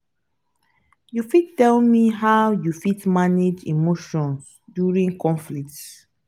you fit tell me how you fit manage emotions during conflicts?